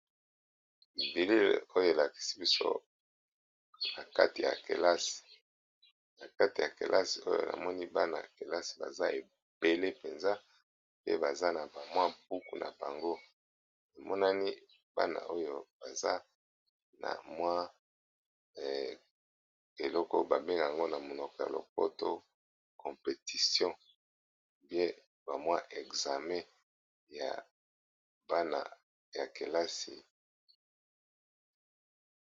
Bilili oyo eyelakisi biso na kati ya kelasi na kati ya kelasi oyo na moni bana ya kelasi baza ebele mpenza pe baza na bamwa buku na bango emonani bana oyo baza na mwa eloko babenge yango na monoko ya lopoto competition pe bamwa exame ya bana ya kelasi.